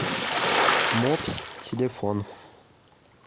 мопс телефон